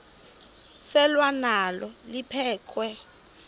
selwa nalo liphekhwe